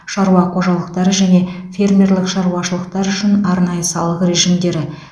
шаруа қожалықтары және фермерлік шаруашылықтар үшін арнайы салық режимдері